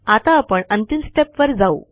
आता आपण अंतिम स्टेप वर जाऊ